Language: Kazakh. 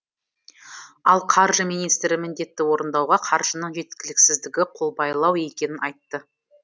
ал қаржы министрі міндетті орындауға қаржының жеткіліксіздігі қолбайлау екенін айтты